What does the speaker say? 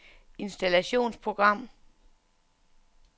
installationsprogram